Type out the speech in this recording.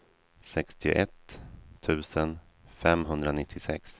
sextioett tusen femhundranittiosex